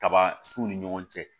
Kaba sun ni ɲɔgɔn cɛ